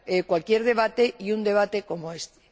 cualquier debate, y un debate como este.